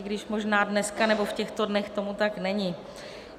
I když možná dneska nebo v těchto dnech tomu tak není.